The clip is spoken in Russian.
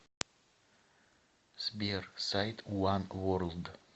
сбер сайт уан ворлд